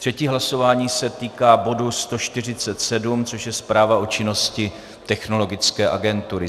Třetí hlasování se týká bodu 147, což je zpráva o činnosti Technologické agentury.